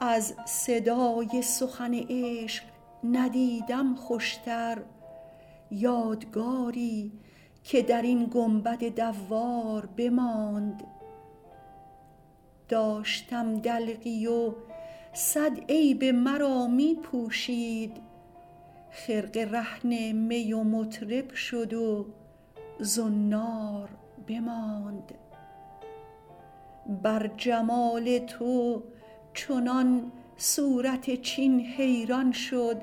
از صدای سخن عشق ندیدم خوشتر یادگاری که در این گنبد دوار بماند داشتم دلقی و صد عیب مرا می پوشید خرقه رهن می و مطرب شد و زنار بماند بر جمال تو چنان صورت چین حیران شد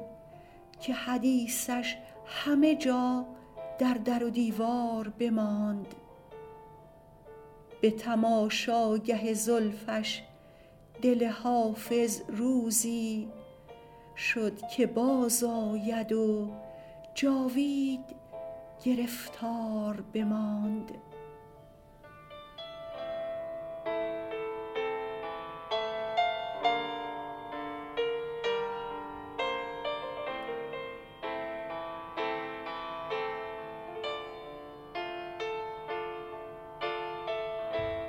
که حدیثش همه جا در در و دیوار بماند به تماشاگه زلفش دل حافظ روزی شد که بازآید و جاوید گرفتار بماند